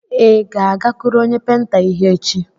Ị ga-agakụrụ onye penta ihe echi?